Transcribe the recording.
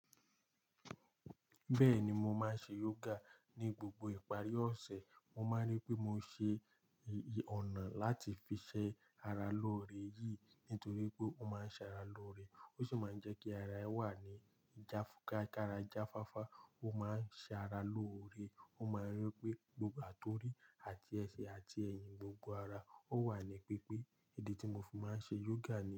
Bẹ́ẹ̀ni, mo máa ń ṣe yoga ní gbogbo ìparí ọ̀sẹ̀. Mo máa ń rí pé mo ń ṣe ọ̀nà láti fi ṣẹ ara lóore yìí, nítorí pé ó máa ń ṣara lóore, ó sì máa ń jẹ́ kí ara ẹ wà ní jáfúká kára jáfáfá. Ó máa ń ṣe ara lóore. Ó máa ń rí wipé gbogbo àtorí àti ẹsẹ̀ àti ẹyìn, gbogbo ara ó wà ní pípé. Èdè tí mo fi máa ń ṣe yoga ni.